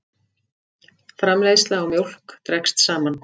Framleiðsla á mjólk dregst saman